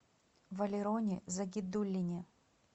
валероне загидуллине